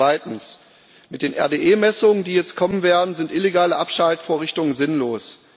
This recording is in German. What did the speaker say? Zweitens Mit den RDE-Messungen, die jetzt kommen werden, sind illegale Abschaltvorrichtungen sinnlos.